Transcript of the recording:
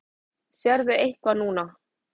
Sérðu eitthvað núna?